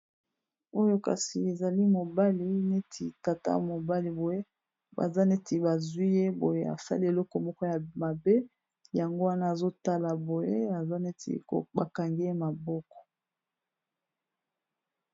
oyo kasi ezali mobali neti kata mobali boye baza neti bazwi ye boye afali eloko moko ya mabe yango wana azotala boye aza neti bakange ye maboko